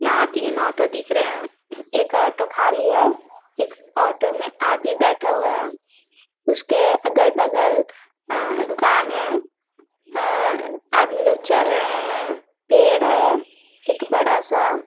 यहाँ तीन ऑटो दिख रहे है एक ऑटो खाली है एक ऑटो में आदमी बैठा हुआ है उसके अगल- बगल अअअ दुकान है अअअअ आदमी लोग चल रहे है पेड़ है एक बड़ा -सा --